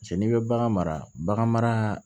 Cɛ n'i bɛ bagan mara bagan maraaa